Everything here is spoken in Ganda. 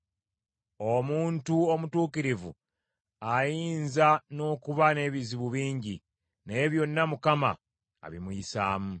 Omuntu omutuukirivu ayinza n’okuba n’ebizibu bingi, naye byonna Mukama abimuyisaamu.